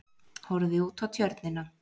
Horfði út á Tjörnina.